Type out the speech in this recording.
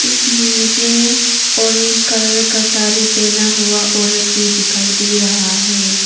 इसमें मुझे orange colour का साड़ी पेहना हुआ औरत भी दिखाई दे रहा है।